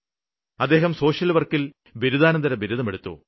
അദ്ദേഹം സോഷ്യല്വര്ക്കില് ബിരുദാനന്തരബിരുദം എടുത്തു